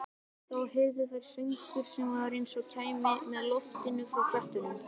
Þá heyrðu þær söng sem var eins og kæmi með loftinu frá klettunum.